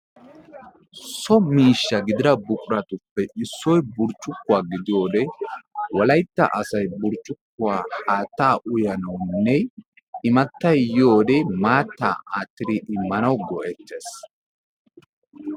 So miishsha gidida buquratuppe issoy burccukkuwa gidiyode wolaytta asayi burccukkuwa haattaa uyanawunne immattayi yiyode maattaa aattidi immanawu go"ettes.